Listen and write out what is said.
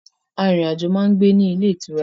Arìnrìnàjò máa ń gbé in ilé ìtura